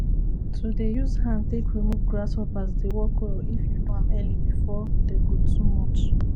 to um dey use hand take remove grasshoppers dey work well if you do am early before dey go too much